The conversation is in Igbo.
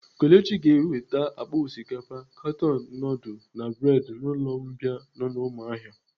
Kelechi ga-eweta akpa osikapa, katon nudul na bredi n'ụlọ mbìa nọ n'umuahia.